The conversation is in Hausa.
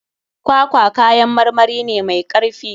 Kwakwa kayan marmari ne mai karfi.